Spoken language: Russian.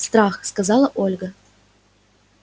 страх сказала ольга